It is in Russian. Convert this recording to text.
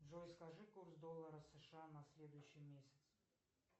джой скажи курс доллара сша на следующий месяц